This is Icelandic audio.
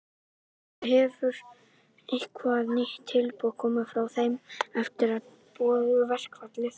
Hjörtur: Hefur eitthvað nýtt tilboð komið frá þeim eftir að þið boðuðu verkfallið?